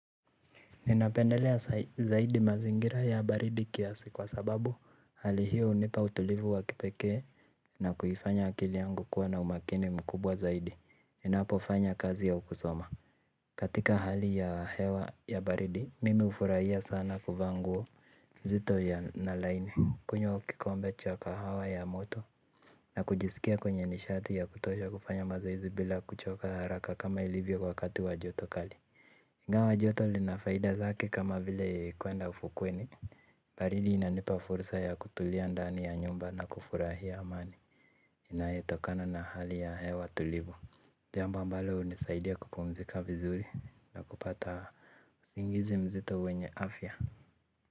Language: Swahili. Ninapendelea zaidi mazingira ya baridi kiasi kwa sababu hali hiyo hunipa utulivu wa kipekee na kuifanya akili yangu kuwa na umakini mkubwa zaidi inapofanya kazi ya kusoma. Katika hali ya hewa ya baridi mimi hufurahia sana kuvaa nguo nzito ya na laini kunywa kikombe cha kahawa ya moto. Na kujisikia kwenye nishati ya kutosha kufanya mazoezi bila kuchoka haraka kama ilivyo wakati wa joto kali ingawa joto lina faida zake kama vile kwenda ufukweni. Baridi inanipa fursa ya kutulia ndani ya nyumba na kufurahia amani inayetokana na hali ya hewa tulivu jambo ambalo hunisaidia kupumzika vizuri na kupata usingizi mzito wenye afya.